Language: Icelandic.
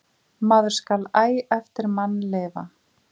Maður skal æ eftir mann lifa.